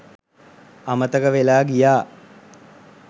අමතක වෙලා ගියා